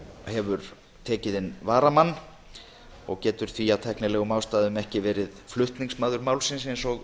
hefur tekið inn varamann og getur því af tæknilegum ástæðum ekki verið flutningsmaður málsins eins og